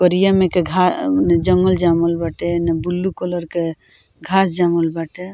करिया में के घा जंगल जमल बाटे एने ब्लू कलर के घास जमल बाटे।